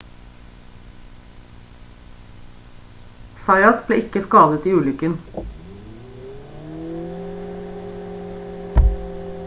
zayat ble ikke skadet i ulykken